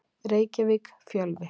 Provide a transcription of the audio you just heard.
Reykjavík: Fjölvi.